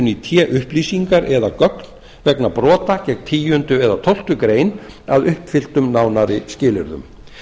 í té upplýsingar eða gögn vegna brota gegn tíunda eða tólftu greinar að uppfylltum nánari skilyrðum